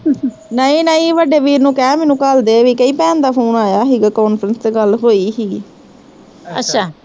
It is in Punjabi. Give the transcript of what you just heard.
ਨਹੀਂ ਨਹੀਂ ਵੱਡੇ ਵੀਰ ਨੂੰ ਕਹਿ ਮੈਨੂੰ ਘੱਲਦੇ ਵੀ ਕਹੀ ਭੈਣ ਦਾ phone ਆਇਆ ਸੀਗਾ conference ਤੇ ਗੱਲ ਹੋਈ ਸੀਗੀ